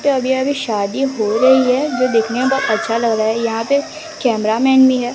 तो अभी अभी शादी हो रही हैं जो देखने में अच्छा लग रहा है यहां पे कैमरामैन भी हैं।